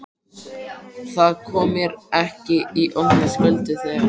Það kom mér því í opna skjöldu þegar